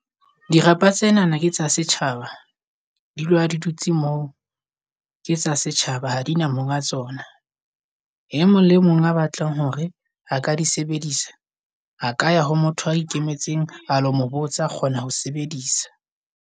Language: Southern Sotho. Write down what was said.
Dirapa tsenana ketsa setjhaba. Di dula di dutse moo. Ke tsa setjhaba, ha di na monga tsona. E mong le mong a batlang hore a ka di sebedisa a ka ya ho motho a ikemetseng a lo mo botsa a kgona ho sebedisa.